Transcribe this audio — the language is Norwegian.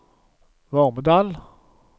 Vormedal